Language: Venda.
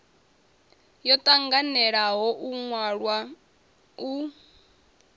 yo tanganelaho yo wanwaho u